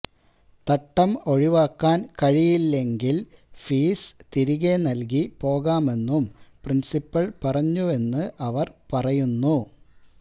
തട്ടം ഒഴിവാക്കാൻ കഴിയില്ലെങ്കിൽ ഫീസ് തിരികെ നൽകി പോകാമെന്നും പ്രിൻസിപ്പിൽ പറഞ്ഞുവെന്ന് അവർ പറയുന്നു